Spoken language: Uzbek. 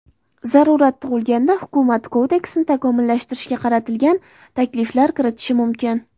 Zarurat tug‘ilganda, hukumat kodeksni takomillashtirishga qaratilgan takliflar kiritishi mumkin.